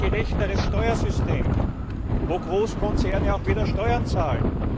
Wir brauchen ein gerechteres Steuersystem, wo Großkonzerne auch wieder Steuern zahlen.